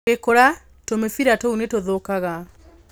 Ũgĩkũra, tũmĩbira tũu nĩ tũthũkaga.